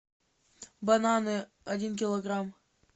бананы один килограмм